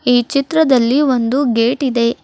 ಈ ಚಿತ್ರದಲ್ಲಿ ಒಂದು ಗೇಟ್ ಇದೆ.